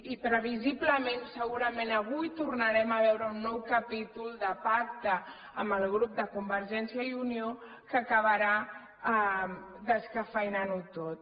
i previsiblement segurament avui tornarem a veure un nou capítol de pacte amb el grup de convergència i unió que acabarà descafeïnant ho tot